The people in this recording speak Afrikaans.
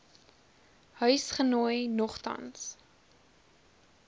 huis genooi nogtans